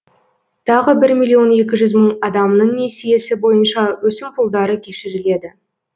тағы бір миллион екі жүз мың адамның несиесі бойынша өсімпұлдары кешіріледі